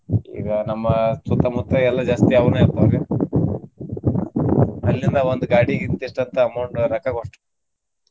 ಈಗ ನಮ್ಮ ಸುತ್ತ ಮುತ್ತ ಎಲ್ಲಾ ಜಾಸ್ತಿ ಅವ್ನೆ ಹಾಕೋವ್ರಿ ಅಲ್ಲಿಂದ ಒಂದ್ ಗಾಡಿಗೆ ಇಂತಿಷ್ಟ್ ಅಂತ amount ರೊಕ್ಕಾ .